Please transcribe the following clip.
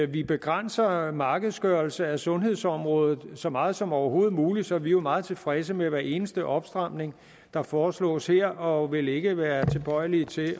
vi begrænser markedsgørelse af sundhedsområdet så meget som overhovedet muligt så vi er jo meget tilfredse med hver eneste opstramning der foreslås her og vil ikke være tilbøjelige til